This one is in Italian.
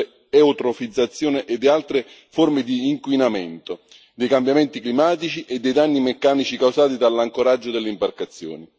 dell'eutrofizzazione e di altre forme di inquinamento, dei cambiamenti climatici e dei danni meccanici causati dall'ancoraggio delle imbarcazioni.